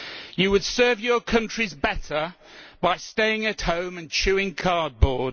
You would serve your countries better by staying at home and chewing cardboard.